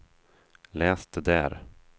läs det där